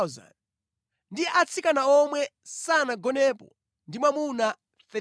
ndi atsikana omwe sanagonepo ndi mwamuna 32,000.